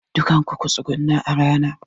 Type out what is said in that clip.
Dukanku ku tsuguna a rana!